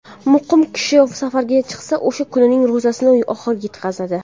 Muqim kishi safarga chiqsa, o‘sha kunning ro‘zasini oxiriga yetkazadi.